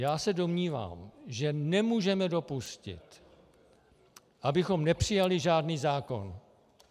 Já se domnívám, že nemůžeme dopustit, abychom nepřijali žádný zákon.